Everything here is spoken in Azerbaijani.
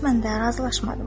Qismən də razılaşmadım.